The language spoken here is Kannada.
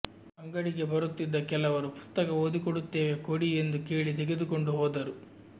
ಅಂಗಡಿಗೆ ಬರುತ್ತಿದ್ದ ಕೆಲವರು ಪುಸ್ತಕ ಓದಿಕೊಡುತ್ತೇವೆ ಕೊಡಿ ಎಂದು ಕೇಳಿ ತೆಗೆದುಕೊಂಡು ಹೋದರು